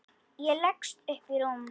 Ég leggst upp í rúmið.